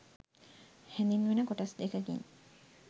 හැඳින්වෙන කොටස් දෙකකි